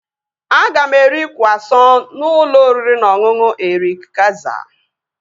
Aga m eri kwụasọn n'ụlọ oriri na ọṅụṅụ Erik Kayzer